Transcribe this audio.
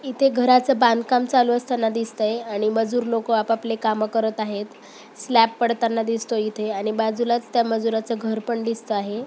इथे घराच बांधकाम चालू असताना दिसतय आणि मजूर लोक आपापले काम करत आहेत. स्लॅब पडताना दिसतोय इथे आणि बाजूलाच त्या मजुराच घर पण दिसत आहे.